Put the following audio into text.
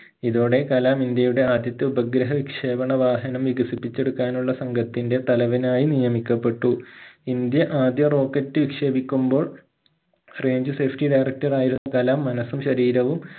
ഇതോടെ കലാം ഇന്ത്യയുടെ ആദ്യത്തെ ഉപഗ്രഹവിക്ഷേപണ വാഹനം വികസിപ്പിച്ചെടുക്കാനുള്ള സംഘത്തിന്റെ തലവനായി നിയമിക്കപ്പെട്ടു ഇന്ത്യ ആദ്യ rocket വിക്ഷേപിക്കുമ്പോൾ range safety director ആയിരുന്ന കലാം മനസ്സും ശരീരവും